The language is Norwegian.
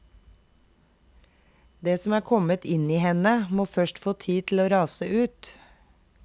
Det som er kommet inn i henne, må først få tid til å rase ut.